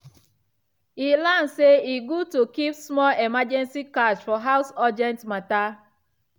e learn say e good to keep small emergency cash for house for urgent matter.